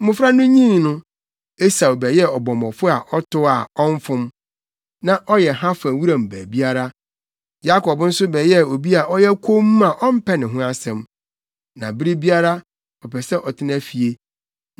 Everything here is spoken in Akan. Mmofra no nyin no, Esau bɛyɛɛ ɔbɔmmɔfo a ɔtow a, ɔmfom. Na ɔyɛ ha fa wuram baabiara. Yakob nso bɛyɛɛ obi a ɔyɛ komm a ɔmpɛ ne ho asɛm. Na bere biara, ɔpɛ sɛ ɔtena fie.